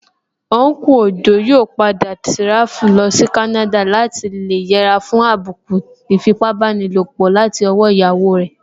Unku Ojo yóò padà tíráfù lọsí Canada láti lè yẹra fún àbùkù ìfipábánilòpọ̀ látọwọ́ iyawo rẹ̀